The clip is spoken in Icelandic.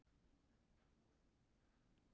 Þessi síðarnefndu eru kölluð snefilefni.